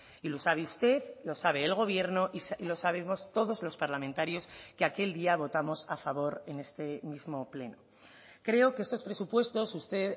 y lo sabe usted lo sabe el gobierno y lo sabemos todos los parlamentarios que aquel día votamos a favor en este mismo pleno creo que estos presupuestos usted